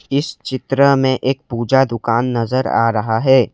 इस चित्र में एक पूजा दुकान नजर आ रहा है।